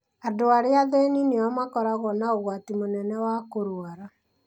Andũ arĩa athĩni nĩo makoragwo na ũgwati mũnene wa kũrũara.